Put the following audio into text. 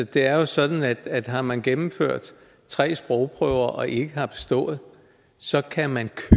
det er jo sådan at har man gennemført tre sprogprøver og ikke har bestået så kan man